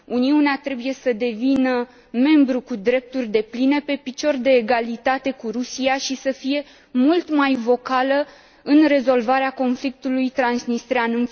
Uniunea trebuie să devină membru cu drepturi depline, pe picior de egalitate cu Rusia, și să fie mult mai vocală în rezolvarea conflictului transnistrean.